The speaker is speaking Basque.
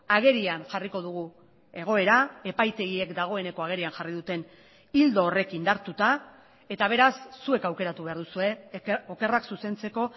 agerian jarriko dugu egoera epaitegiek dagoeneko agerian jarri duten ildo horrek indartuta eta beraz zuek aukeratu behar duzue okerrak zuzentzeko